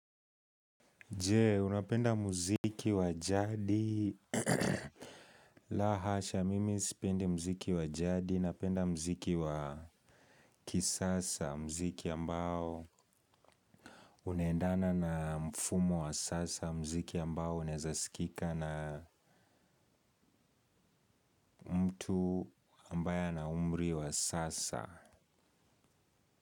Je, unapenda muziki wa jadi. Lahasha, mimi sipendi muziki wa jadi. Napenda muziki wa kisasa. Muziki ambao unaendana na mfumo wa sasa. Muziki ambao unawezasikika namtu ambayea na umri wa sasa.